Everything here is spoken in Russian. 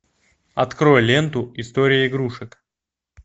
открой ленту история игрушек